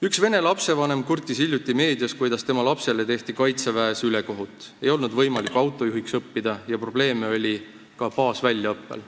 Üks vene lapsevanem kurtis hiljuti meedias, kuidas tema lapsele tehti kaitseväes ülekohut, sest tal ei olnud võimalik autojuhiks õppida ja probleeme oli ka baasväljaõppel.